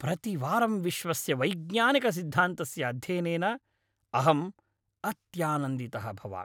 प्रतिवारं विश्वस्य वैज्ञानिकसिद्धान्तस्य अध्ययनेन अहम् अत्यानन्दितः भवामि।